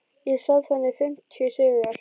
Ég sat þarna í fimmtíu sígar